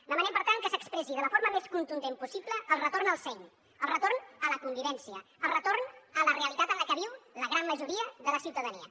demanem per tant que s’expressi de la forma més contundent possible el retorn al seny el retorn a la convivència el retorn a la realitat en la que viu la gran majoria de la ciutadania